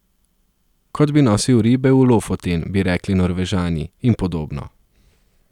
Kot bi nosil ribe v Lofoten, bi rekli Norvežani, in podobno.